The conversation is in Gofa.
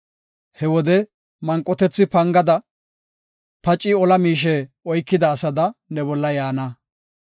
He wode manqotethi pangada, paci ola miishe oykida asada ne bolla yaana.